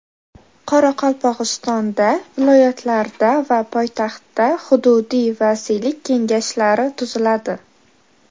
Qoraqalpog‘istonda, viloyatlarda va poytaxtda hududiy vasiylik kengashlari tuziladi.